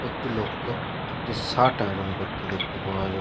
একটি লোককে একটি শার্ট আইরন করতে দেখতে পাওয়া যা--